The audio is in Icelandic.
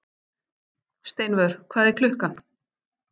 Steinvör, hvað er klukkan?